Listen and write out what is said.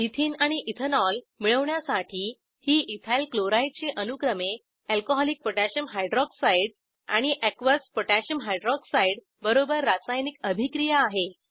ethene आणि ethanol मिळवण्यासाठी ही इथाइल क्लोराइड ची अनुक्रमे अल्कोहॉलिक पोटॅशियम हायड्रॉक्साइड आणि एकियस पोटॅशियम हायड्रॉक्साइड बरोबर रासायनिक अभिक्रिया आहे